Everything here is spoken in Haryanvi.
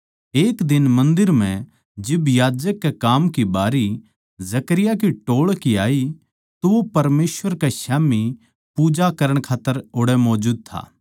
एक दिन मन्दर म्ह जिब याजक के काम की बारी जकरयाह के टोळ की आई तो वो परमेसवर कै स्याम्ही पूजा करण खात्तर ओड़ै मौजूद था